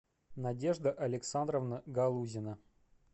надежда александровна галузина